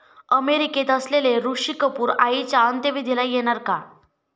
अमेरिकेत असलेले ऋषी कपूर आईच्या अंत्यविधीला येणार का?